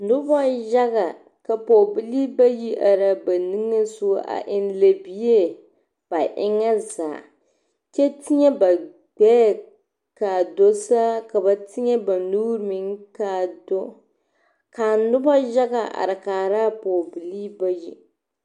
Noba yaga ka pɔɔbilee bayi araa ba nigeŋ sogɔ a eŋ lɛbie ba eŋa zaa kyɛ teɛ ba gbɛɛ ka a do saa ka ba teɛ ba nuuri meŋ kaa do ka noba yaga are kaaraa pɔge bilee bayi.